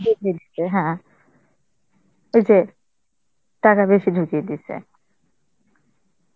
হ্যাঁ ওই যে টাকা বেশি ঢুকিয়ে দিসে.